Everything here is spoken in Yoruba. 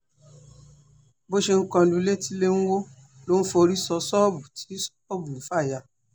bó ṣe ń kọ lu ilé tí ilé ń wọ́ ló ń forí sọ ṣọ́ọ̀bù tí ṣọ́ọ̀bù ń fà ya